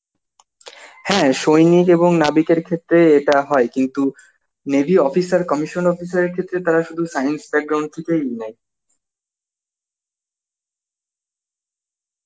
হ্যাঁ সৈনিক এবং নাবিক এর ক্ষেত্রে এটা হয় কিন্তু navy officer, commission officer এর ক্ষেত্রে তারা সুধু science থেকেই নেয়ে